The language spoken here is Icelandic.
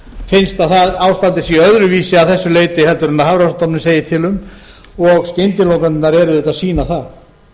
finnst að ástandið sé öðruvísi að þessu leyti en hafrannsóknastofnun segir til um og skyndilokanirnar eru auðvitað að sýna það